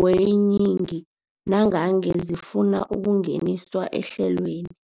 weeyingi nangange zifuna ukungeniswa ehlelweni.